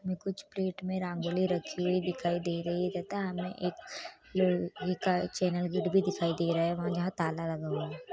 इसमे कुछ प्लेट मे रंगोली रखी हुई दिखाई दे रही है तथा हमे एक चैनल गेट भी दिखाई दे रहा है और यहाँ ताला लगा हुआ है।